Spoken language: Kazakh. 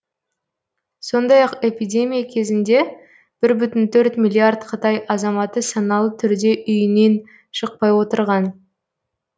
сондай ақ эпидемия кезінде бір бүтін төрт миллиард қытай азаматы саналы түрде үйінен шықпай отырған